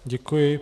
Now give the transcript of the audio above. Děkuji.